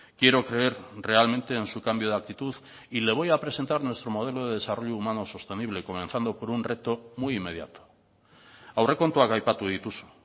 quiero creer realmente en su cambio de actitud y le voy a presentar nuestro modelo de desarrollo humano sostenible comenzando por un reto muy inmediato aurrekontuak aipatu dituzu